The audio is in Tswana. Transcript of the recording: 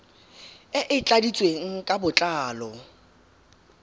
e e tladitsweng ka botlalo